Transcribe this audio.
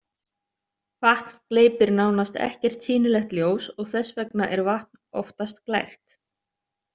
Vatn gleypir nánast ekkert sýnilegt ljós og þess vegna er vatn oftast glært.